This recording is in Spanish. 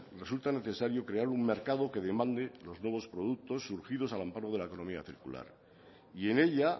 resulta necesario crear un mercado que demande los nuevos productos surgidos al amparo de la economía circular y en ella